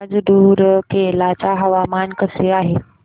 आज रूरकेला चे हवामान कसे आहे